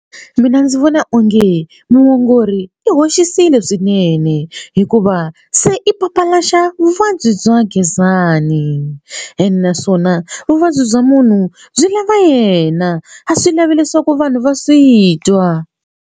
Mina ndzi vona onge muongori i hoxisile swinene hikuva se i papalaxa vuvabyi bya Gezani ene naswona vuvabyi bya munhu byi lava yena a swi lavi leswaku vanhu va swi twa.